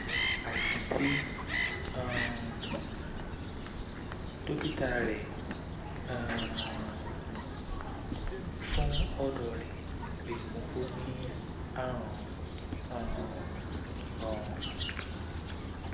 àìsàn tí um dókítà rẹ um fún ọdọ rẹ lè mú kó o ní àrùn um ọrùn